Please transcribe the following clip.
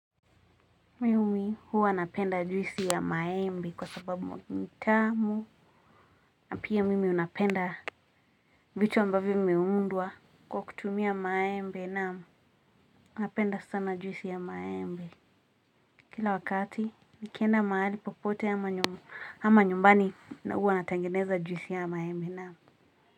Mimi huwa napenda juisi ya maembe kwa sababu ni tamu, na pia mimi napenda vitu ambavyo vimeundwa kwa kutumia maembe naam. Napenda sana juisi ya maembe. Kila wakati nikienda mahali popote ama ama nyumbani huwa natengeneza juisi ya maembe naam.